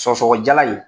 Sɔgɔsɔgɔnijɛla in